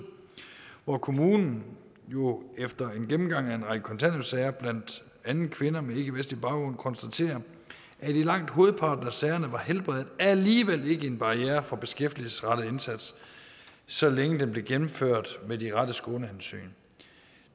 hvor kommunen jo efter en gennemgang af en række kontanthjælpssager med blandt andet kvinder med ikkevestlig baggrund har konstateret at i langt hovedparten af sagerne var helbredet alligevel ikke en barriere for en beskæftigelsesrettet indsats så længe den blev gennemført med de rette skånehensyn